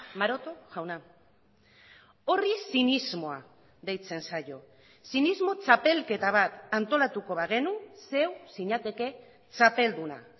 maroto jauna horri zinismoa deitzen zaio zinismo txapelketa bat antolatuko bagenu zeu zinateke txapelduna